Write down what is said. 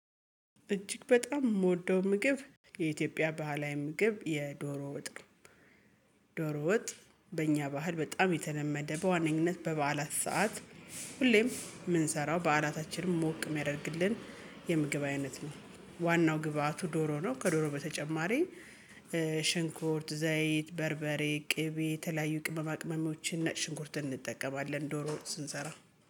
እጅግ በጣም የምወደው ምግብ የኢትዮጵያ ባህላዊ ምግብ የዶሮ ወጥ ነው። ዶሮ ወጥ በእኛ ባህል በጣም የተለመደ በዋነኝነት በበዓላት ሰዓት። ሁሌም የምንሰራው በዓላታችንም ሞቅ የሚያደርግልን የምግብ አይነት ነው። ዋናው ግብአቱ ዶሮ ነው ከዶሮ በተጨማሪ ሽንኩርት ዘይት በርበሬ ቅቤ የተለያዩ ቅመም አቅመሞችን ሽንኩርትን እንጠቀማለን። ዶሮ ስንሰራ